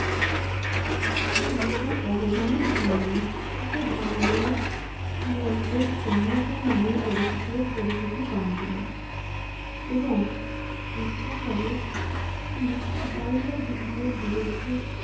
তার বিশাল অবদানের জন্য। তাকে বাংলা নামে পরিচিত পরিচিতি পান তিনি এবং বিদ্যাসাগর তিনি বাল্যবিবাহের বিরুদ্ধে